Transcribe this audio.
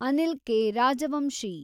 Anil K. Rajvanshi